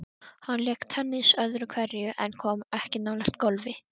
Hann lék tennis öðru hverju en kom ekki nálægt golfi.